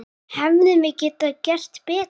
Hefðum við getað gert betur?